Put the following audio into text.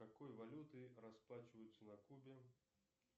какой валютой расплачиваются на кубе